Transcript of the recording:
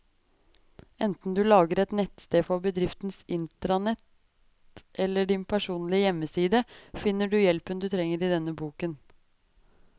Enten du lager et nettsted for bedriftens intranett eller din personlige hjemmeside, finner du hjelpen du trenger i denne boken.